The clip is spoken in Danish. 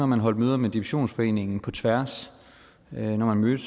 man holdt møder med divisionsforeningen på tværs når man mødtes